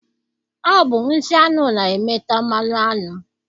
Ọ bụ nsị aṅụ na-eme ta mmanụ aṅụ.